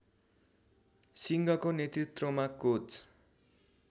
सिंघको नेतृत्वमा कोच